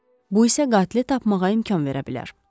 Bu isə qatili tapmağa imkan verə bilər.